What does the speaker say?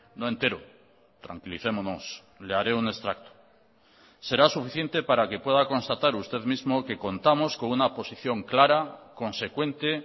no entero tranquilicémonos le haré un extracto será suficiente para que pueda constatar usted mismo que contamos con una posición clara consecuente